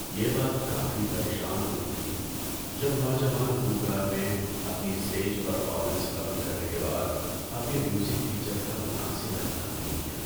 یہ بات کافی پریشان کن تھی جب نوجوان گلوکار نے اپنی اسٹیج پرفارمنس ختم کرنے کے بعد اپنے میوزک ٹیچر کا مناسب احترام نہیں کیا۔